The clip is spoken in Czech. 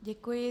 Děkuji.